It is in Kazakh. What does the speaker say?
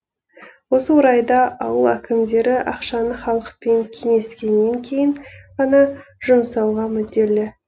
осы орайда ауыл әкімдері ақшаны халықпен кеңескеннен кейін ғана жұмсауға мүдделі